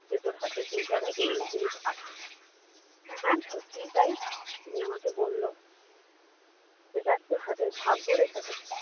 যে তোর হাতে এই জায়গায় এই এই জিনিস আছে হ্যাঁ সত্যিই তাই উনি আমাকে বললো যে দেখ তোর হাতের ভাগ্য রেখাটা